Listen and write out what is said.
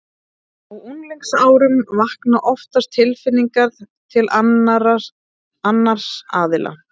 Á unglingsárunum vakna oftast tilfinningar til annars aðila.